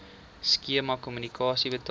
skema kommissie betaal